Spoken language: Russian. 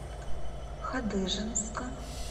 хадыженска